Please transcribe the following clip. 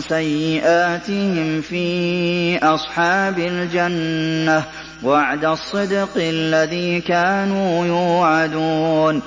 سَيِّئَاتِهِمْ فِي أَصْحَابِ الْجَنَّةِ ۖ وَعْدَ الصِّدْقِ الَّذِي كَانُوا يُوعَدُونَ